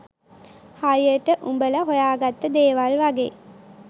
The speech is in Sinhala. හරියට උඹල හොයාගත්ත දේවල් වගේ